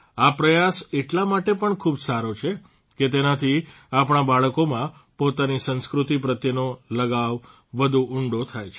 આ પ્રયાસ એટલા માટે પણ ખૂબ સારો છે કે તેનાથી આપણા બાળકોમાં પોતાની સંસ્કૃતિ પ્રત્યેનો લગાવ વધુ ઉંડો થાય છે